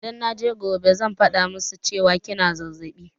Idan naje gobe zan faɗa musu cewa kina zazzaɓi